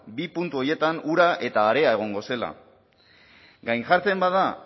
bi puntu horietan ura eta haria egongo zela gainjartzen bada